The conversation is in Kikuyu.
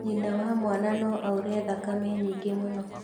nyina wa mwana no aure thakame nyingĩ mũno,